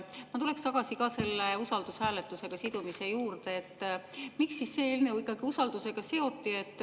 Ma tulen tagasi selle usaldushääletusega sidumise juurde, et miks see eelnõu ikkagi usaldusega seoti.